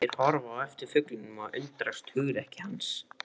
Þeir horfa á eftir fuglinum og undrast hugrekki hans.